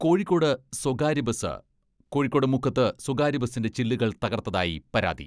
കോഴിക്കോട് സ്വകാര്യബസ് കോഴിക്കോട് മുക്കത്ത് സ്വകാര്യബസിന്റെ ചില്ലുകൾ തകർത്തതായി പരാതി.